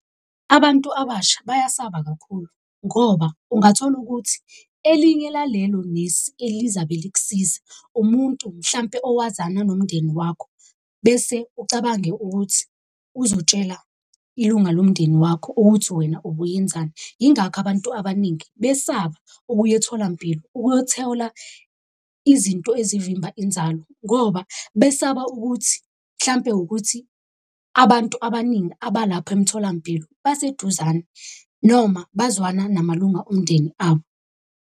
Abantu abasha bayasaba kakhulu ngoba ungathola ukuthi elinye lalelo nesi elizabe likusiza, umuntu mhlampe owazana nomndeni wakho. Bese ucabange ukuthi uzotshela ilunga lomndeni wakho ukuthi wena ubuyenzani. Yingakho abantu abaningi besaba ukuya etholampilo ukuyothola izinto ezivimba inzalo ngoba besaba ukuthi hlampe ukuthi abantu abaningi abalapho emtholampilo baseduzane, noma bazwana namalunga omndeni abo.